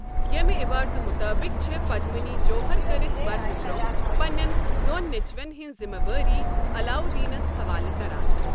ییٚمہِ عٮ۪بارتہِ مُطٲبِق چھےٚ پدمِنی جوہر کرِتھ مرنہٕ برٛونہہٕ پنٛنٮ۪ن دۄن نیٚچوٮ۪ن ہٕنٛز ذِمہٕ وٲری علاودیٖنَس حَوالہٕ كران ۔